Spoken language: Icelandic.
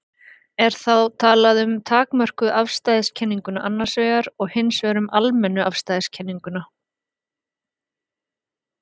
Er þá talað um takmörkuðu afstæðiskenninguna annars vegar og hins vegar um almennu afstæðiskenninguna.